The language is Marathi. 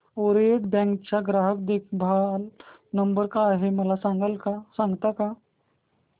ओरिएंटल बँक चा ग्राहक देखभाल नंबर काय आहे मला सांगता का